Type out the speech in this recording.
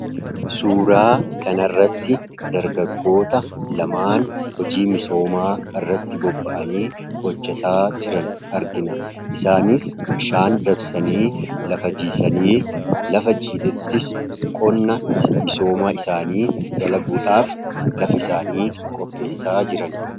suuraa kana irratti dargaggoota lamaan hojii misoomaa irratti bobba’anii hojjetaa jiran argina. Isaanis bishaan dabsanii lafa jiisanii lafa jiidhetti qonna misoomaa isaanii dala guudhaaf lafa isaanii qopheessaa jirani.